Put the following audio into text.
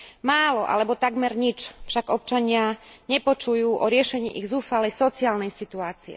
Málo alebo takmer nič však občania nepočujú o riešení ich zúfalej sociálnej situácie.